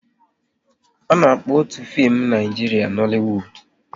A na-akpọ otu fim Naijiria Nollywood